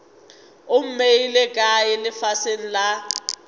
o mmeile kae lefaseng la